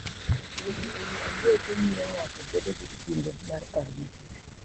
Wuotho e wi ambuoche miyo ng'ato bedo gi kinde mar paro matut.